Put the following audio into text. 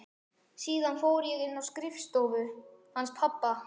Síðan fór ég inn í skrifstofuna hans pabba.